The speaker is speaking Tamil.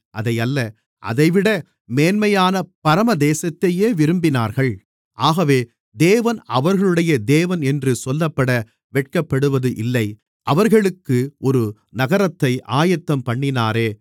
அதையல்ல அதைவிட மேன்மையான பரமதேசத்தையே விரும்பினார்கள் ஆகவே தேவன் அவர்களுடைய தேவன் என்று சொல்லப்பட வெட்கப்படுவது இல்லை அவர்களுக்கு ஒரு நகரத்தை ஆயத்தம்பண்ணினாரே